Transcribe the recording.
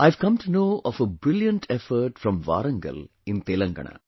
I have come to know of a brilliant effort from Warangal in Telangana